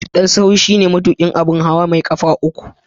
Dan sahu shine sunan da ake kiran matuƙin abun hawa mai ƙafa uku na haya.